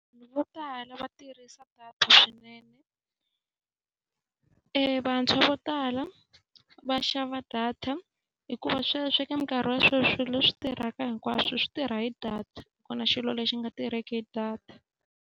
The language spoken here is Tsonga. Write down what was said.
Vo tala va tirhisa data swinene. Vantshwa vo tala va xava data hikuva sweswi eka minkarhi ya sweswi leswi tirhaka hinkwaswo swi tirha hi data. A ku na xilo lexi nga tirheki hi data.